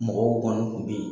Mɔgɔw kɔni tun be yen.